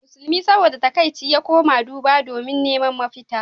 Musulmi saboda takaici ya koma duba domin neman mafita.